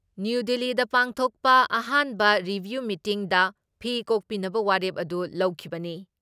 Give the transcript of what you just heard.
New ꯗꯤꯜꯂꯤꯗ ꯄꯥꯡꯊꯣꯛꯄ ꯑꯍꯥꯟꯕ ꯔꯤꯚꯤꯌꯨ ꯃꯤꯇꯤꯡꯗ ꯐꯤ ꯀꯣꯛꯄꯤꯅꯕ ꯋꯥꯔꯦꯞ ꯑꯗꯨ ꯂꯧꯈꯤꯕꯅꯤ ꯫